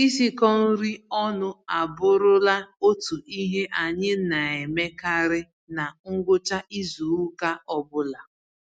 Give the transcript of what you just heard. Isikọ-nri-ọnụ abụrụla otu ihe anyị naemekarị na ngwụcha izuka ọbula